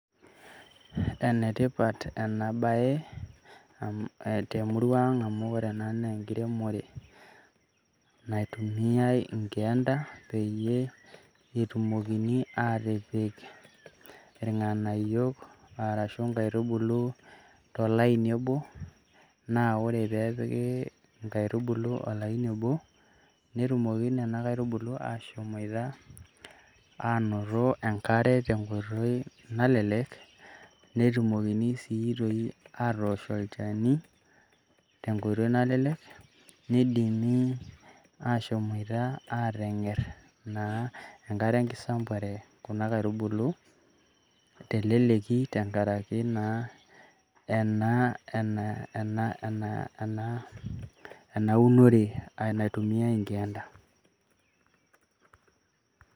Enetipat ena baye temurua aang' amu ore ena naa enkiremore naitumiayai inkeenda peyie etumokini aatipiki irng'anayio arashu inkaitubulu tolaini obo, naa ore peepiki inkaitubulu olaini obo netumoki nena aitubulu aashomoita aanoto enkare tenkoitoi nalelek netumokini sii toi aatosh olchani te enkoitoi nalelek, nidimi aashomoita aateng'err naa enkare enkisambuare kuna kaitubulu teleleki tengaraki naa ena unore naitumiyai inkeenda.